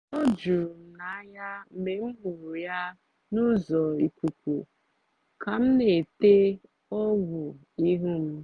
o juru m anya mgbe m hụrụ ya n’ụzọ ikuku ka m na-ete ọgwụ ihu m